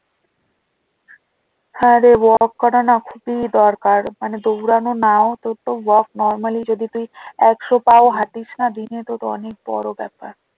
হ্যাঁ রে walk করা না খুবই দরকার মানে দৌড়ানো না ও তোর তাও walk normally যদি তুই একশো পাও হাঁটিস না দিনে তো তা অনেক বড়ো ব্যাপার